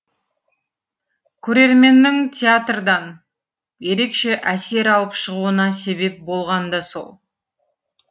көрерменннің театрдан ерекше әсер алып шығуына себеп болған да сол